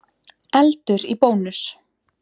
Eldur í Bónus